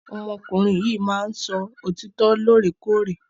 Ọmọ ọkùnrin yìí máa ni sọ òtítọ lore kore.